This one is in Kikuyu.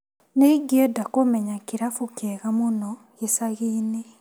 Nĩ ingĩenda kũmenya kĩrabu kĩega mũno gĩcagi-inĩ.